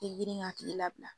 Tigrin ka tigi labila.